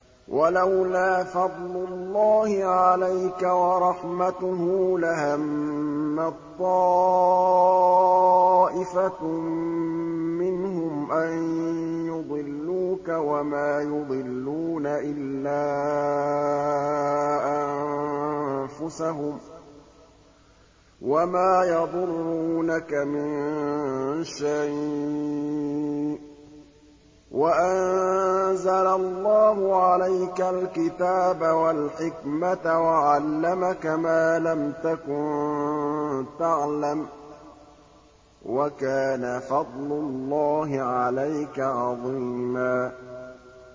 وَلَوْلَا فَضْلُ اللَّهِ عَلَيْكَ وَرَحْمَتُهُ لَهَمَّت طَّائِفَةٌ مِّنْهُمْ أَن يُضِلُّوكَ وَمَا يُضِلُّونَ إِلَّا أَنفُسَهُمْ ۖ وَمَا يَضُرُّونَكَ مِن شَيْءٍ ۚ وَأَنزَلَ اللَّهُ عَلَيْكَ الْكِتَابَ وَالْحِكْمَةَ وَعَلَّمَكَ مَا لَمْ تَكُن تَعْلَمُ ۚ وَكَانَ فَضْلُ اللَّهِ عَلَيْكَ عَظِيمًا